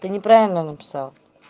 ты неправильно написал